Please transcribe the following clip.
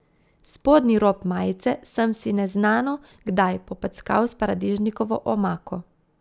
Spodnji rob majice sem si neznano kdaj popackal s paradižnikovo omako.